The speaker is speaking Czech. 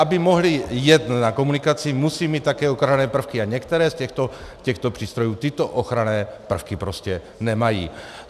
Aby mohly jet na komunikaci, musí mít také ochranné prvky, a některé z těchto přístrojů tyto ochranné prvky prostě nemají.